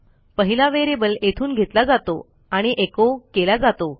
पहिला व्हेरिएबल येथून घेतला जातो आणि echoकेला जातो